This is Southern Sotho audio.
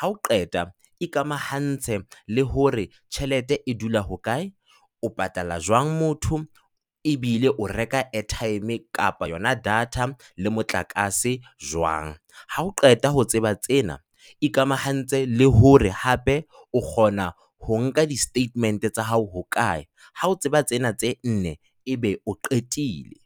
Hao qeta, ikamahantse le hore tjhelete e dula hokae, o patala jwang motho ebile o reka airtime kapa yona data le motlakase jwang? Ha o qeta ho tseba tsena, ikamahantshe le hore hape o kgona ho nka di-statement tsa hao hokae. Ha o tseba tsena tse nne ebe o qetile.